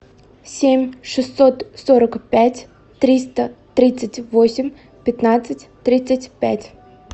семь шестьсот сорок пять триста тридцать восемь пятнадцать тридцать пять